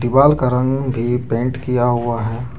वाल का रंग भी पेंट किया हुआ है।